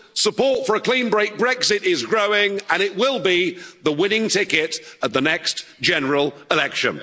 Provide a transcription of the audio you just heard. Support for a clean break Brexit is growing and it will be the winning ticket at the next general election.